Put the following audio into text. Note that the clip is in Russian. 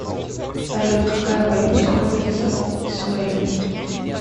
салют какая валюта используется в венесуэле